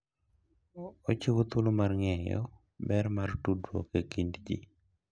Ochiwo thuolo mar ng'eyo ber mar tudruok e kind ji.